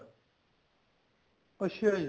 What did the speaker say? ਅੱਛਾ ਜੀ